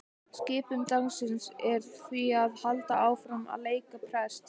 Skipun dagsins er því að halda áfram að leika prest.